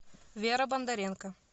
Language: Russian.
вера бондаренко